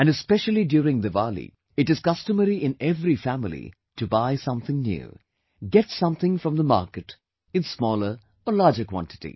And especially during Diwali, it is customary in every family to buy something new, get something from the market in smaller or larger quantity